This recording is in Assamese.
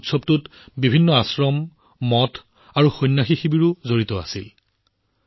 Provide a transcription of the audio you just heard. এইবাৰ উৎসৱটোত বিভিন্ন আশ্ৰম মুথ আৰু আখাড়াও অন্তৰ্ভুক্ত কৰা হৈছিল